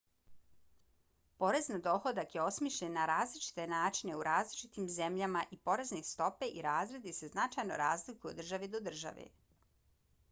porez na dohodak je osmišljen na različite načine u različitim zemljama i porezne stope i razredi se značajno razlikuju od države do države